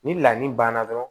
Ni lamin banna dɔrɔn